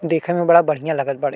देखे में बड़ा बढ़िया लागत बाड़े।